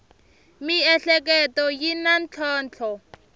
miehleketo yi na ntlhontlho